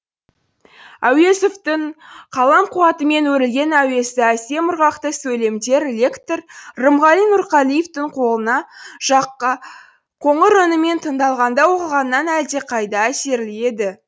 әуезовтің қалам қуатымен өрілген әуезді әсем ырғақты сөйлемдер лектор рымғали нұрғалиевтің қоңыр үнімен тыңдалғанда оқылғаннан әлдеқайда әсерлі еді